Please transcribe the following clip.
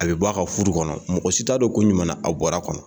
A bɛ bɔ a ka furu kɔnɔ ,mɔgɔ si t'a don kun jumɛn na a bɔr'a kɔnɔ.